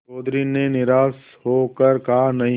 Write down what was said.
चौधरी ने निराश हो कर कहानहीं